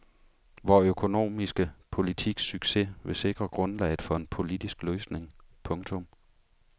Vor økonomiske politiks succes vil sikre grundlaget for en politisk løsning. punktum